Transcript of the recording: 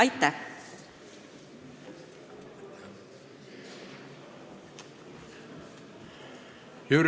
Aitäh!